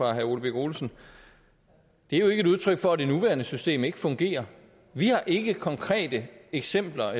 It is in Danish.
herre ole birk olesen det er jo ikke udtryk for at det nuværende system ikke fungerer vi har ikke konkrete eksempler